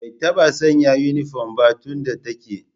Bai taɓa sanya inifom ba tun da take